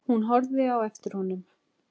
Hún horfði á eftir honum.